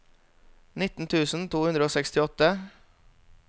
nitten tusen to hundre og sekstiåtte